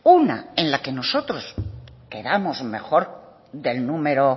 una en la que nosotros quedamos mejor del número